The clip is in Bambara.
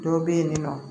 Dɔ bɛ yen nɔ